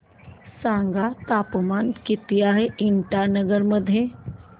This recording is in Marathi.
सांगा तापमान किती आहे इटानगर मध्ये